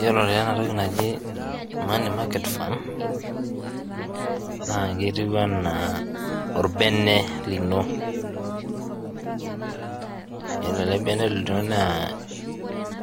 Iyolo taa enatoki najii money market fund naa ketiu ena orbene lino, ore ale orbene lino naa